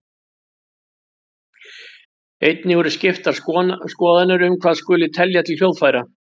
Einnig eru skiptar skoðanir um hvað skuli telja til hljóðfæra.